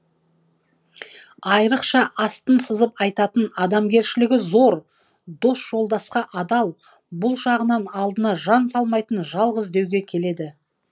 айырықша астын сызып айтатын адамгершілігі зор дос жолдасқа адал бұл жағынан алдына жан салмайтын жалғыз деуге келеді